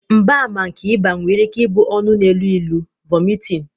mgbaàmà nke ịba nwere ike ịbụ ọnụ na-elu ilu, vomiting